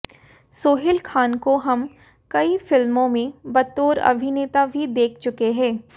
सोहेल खान को हम कई फिल्मों में बतौर अभिनेता भी देख चुके हैं